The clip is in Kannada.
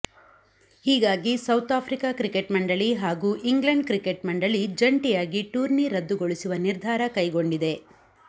ಹೀಗಾಗಿ ಸೌತ್ ಆಫ್ರಿಕಾ ಕ್ರಿಕೆಟ್ ಮಂಡಳಿ ಹಾಗೂ ಇಂಗ್ಲೆಂಡ್ ಕ್ರಿಕೆಟ್ ಮಂಡಳಿ ಜಂಟಿಯಾಗಿ ಟೂರ್ನಿ ರದ್ದುಗೊಳಿಸುವ ನಿರ್ಧಾರ ಕೈಗೊಂಡಿದೆ